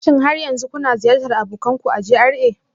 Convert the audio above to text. Shin har yanzu kuna ziyartar abokin ku a GRA